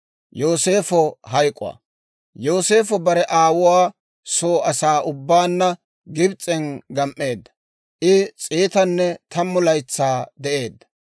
Yooseefo bare aawuwaa soo asaa ubbaanna Gibs'en gam"eedda; I s'eetanne tammu laytsaa de'eedda;